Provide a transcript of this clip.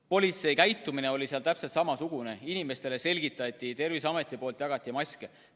Politsei käitumine oli seal täpselt samasugune, inimestele selgitati nõudeid, Terviseamet jagas maske.